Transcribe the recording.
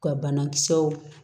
Ka banakisɛw